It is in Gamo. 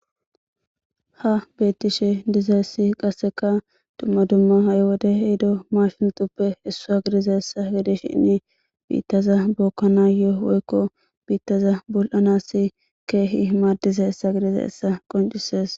ha beettishe dizaessi qasseka dumma dumma ha7 wode hehido mashuntuppe issua gidiza essa gidishinni biittaza bookkana yoo woykko biittaza bul7anassi keehi maaddiza hessa gidiza essa qoncisees